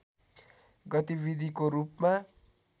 गतिविधिको रूपमा